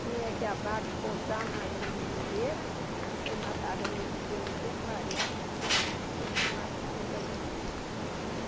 Tinha que a vaca posar na na mangueira e ser matada no outro dia, no dia clarear, aí que matava para a despesa.